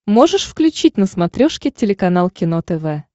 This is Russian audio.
можешь включить на смотрешке телеканал кино тв